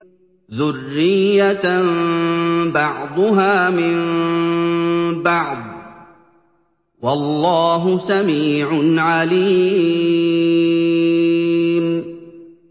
ذُرِّيَّةً بَعْضُهَا مِن بَعْضٍ ۗ وَاللَّهُ سَمِيعٌ عَلِيمٌ